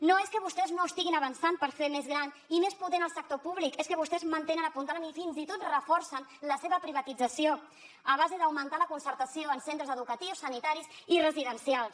no és que vostès no estiguin avançant per fer més gran i més potent el sector públic és que vostès mantenen apuntalen i fins i tot reforcen la seva privatització a base d’augmentar la concertació en centres educatius sanitaris i residencials